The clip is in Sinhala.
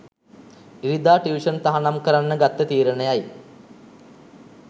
ඉරිදා ටියුෂන් තහනම් කරන්න ගත්ත තීරණයයි.